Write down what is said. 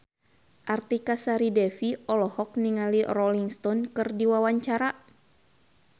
Artika Sari Devi olohok ningali Rolling Stone keur diwawancara